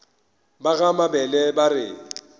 ba ga mabele ba re